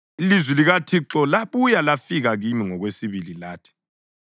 Ilizwi likaThixo labuya lafika kimi ngokwesibili lathi: